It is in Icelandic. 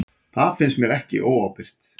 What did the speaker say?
Það finnst mér ekki óábyrgt.